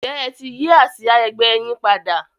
ǹjẹ́ ẹ ti yí àsìá ẹgbẹ́ yín padà?